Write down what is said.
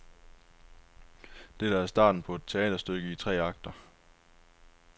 Dette er starten på et teaterstykke i tre akter.